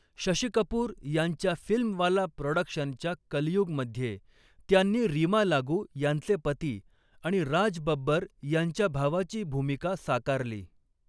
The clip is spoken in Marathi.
शशी कपूर यांच्या फिल्मवाला प्रॉडक्शनच्या कलयुगमध्ये त्यांनी रीमा लागू यांचे पती आणि राज बब्बर यांच्या भावाची भूमिका साकारली.